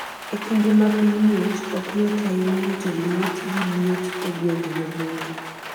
E kinde ma piny ng'ich, ok yot ahinya rito liet gi liet e gwenge maboyo.